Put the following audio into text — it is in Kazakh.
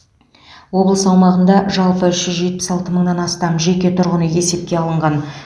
облыс аумағында жалпы үш жүз жетпіс алты мыңнан астам жеке тұрғын үй есепке алынған